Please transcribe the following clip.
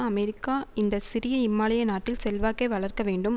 America இந்த சிறிய இமாலய நாட்டில் செல்வாக்கை வளர்க்க வேண்டும்